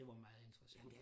Det var meget interessant